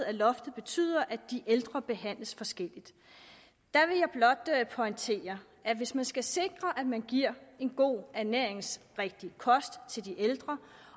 at loftet betyder at de ældre behandles forskelligt vil jeg blot pointere at hvis man skal sikre at man giver en god ernæringsrigtig kost til de ældre